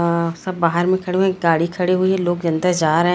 अअ सब बाहर में खड़े हुए है एक गाडी खड़ी हुई है लोग अंदर जा रहे--